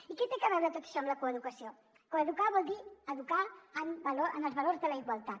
i què té a veure tot això amb la coeducació coeducar vol dir educar en els valors de la igualtat